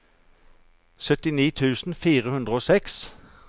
syttini tusen fire hundre og seks